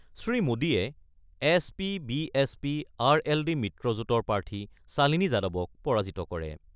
শ্ৰীমোদীয়ে S P B S P R L D মিত্ৰজোটৰ প্ৰাৰ্থী শালিনী যাদৱক পৰাজিত কৰে।